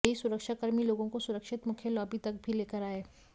यही सुरक्षा कर्मी लोगों को सुरक्षित मुख्य लॉबी तक भी लेकर आये